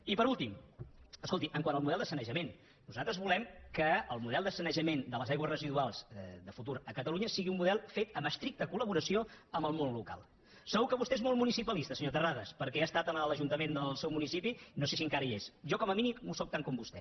i per últim escolti quant al model de sanejament nosaltres volem que el model de sanejament de les aigües residuals de futur a catalunya sigui un model fet amb estricta colvostè és molt municipalista senyor terrades perquè ha estat en l’ajuntament del seu municipi no sé si encara hi és jo com a mínim ho sóc tant com vostè